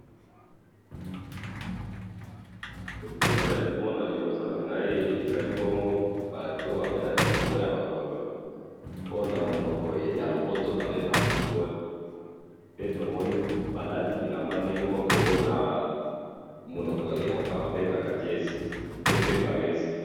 photo nazali komona liboso nangai ezali bongo batu babetaka ndembo yabakolo ooh namonoko ya lopoto babengaka football pe tomoni balati bilamba ndenge moko ooh namonoko ya pro babengaka jersey to pe varese